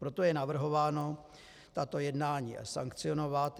Proto je navrhováno tato jednání sankcionovat.